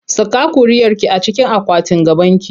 Saka ƙuriarki a cikin akwatin gabanki!